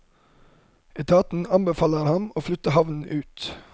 Etaten anbefaler å flytte havnen ut.